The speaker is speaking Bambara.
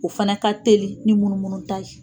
O fana ka teli ni munumunu ta ye.